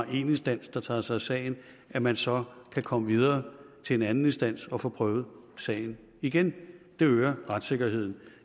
én instans der tager sig af sagen at man så kan komme videre til en anden instans og få prøvet sagen igen det øger retssikkerheden